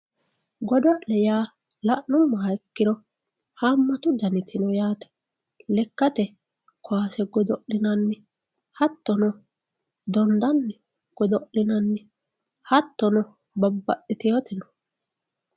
Godo'lle yaa la'numoha ikkiro haamatu danniti no yaate, lekkate kaase godo'linnanni hatono dondanni godo'linnanni hatonno babaxiteewooti no.